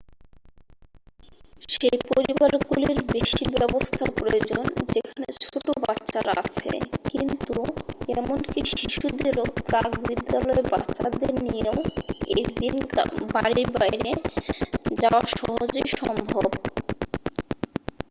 সেই পরিবারগুলির বেশি ব্যবস্থা প্রয়োজন যেখানে ছোট বাচ্চারা আছে কিন্তু এমনকি শিশুদের ও প্রাক-বিদ্যালয় বাচ্চাদের নিয়েও একদিন বাড়ির বাইরে যাওয়া সহজেই সম্ভব